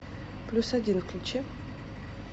плюс один включи